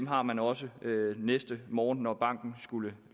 har man også næste morgen når banken skulle